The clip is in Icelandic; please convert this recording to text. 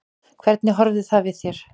Hvernig horfði það við þér?